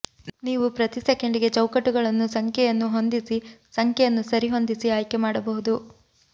ನೀವು ಪ್ರತಿ ಸೆಕೆಂಡಿಗೆ ಚೌಕಟ್ಟುಗಳನ್ನು ಸಂಖ್ಯೆಯನ್ನು ಹೊಂದಿಸಿ ಸಂಖ್ಯೆಯನ್ನು ಸರಿಹೊಂದಿಸಿ ಆಯ್ಕೆ ಮಾಡಬಹುದು